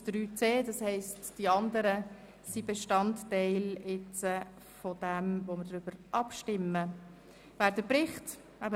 Sie haben die Planungserklärung 7 der SAKMinderheit abgelehnt mit 78 Nein- zu 65 Ja-Stimmen bei 4 Enthaltungen.